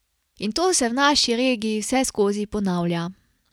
In to se v naši regiji vseskozi ponavlja.